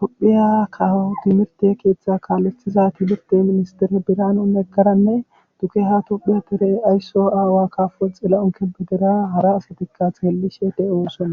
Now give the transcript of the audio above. tophiya kaho timirte keeththa kaallestiza timirte ministere biraanu neggaranne tuke ha tuphe pere aysso aawa kafo xila'on kebedera hara asatikka thheellishe de'osona.